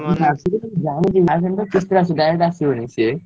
କିସ୍ତିରେ ଆସିବ direct ଆସିବନି ସେ।